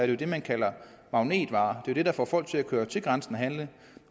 jo det man kalder magnetvarer der får folk til at køre til grænsen og handle